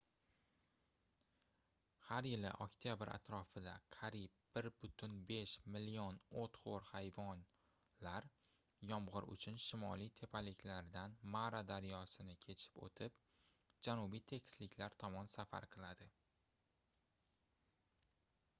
har yili oktyabr atrofida qariyb 1,5 million oʻtxoʻr hayvonlar yomgʻir uchun shimoliy tepaliklardan mara daryosini kechib oʻtib janubiy tekisliklar tomon safar qiladi